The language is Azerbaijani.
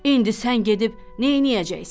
İndi sən gedib neyləyəcəksən?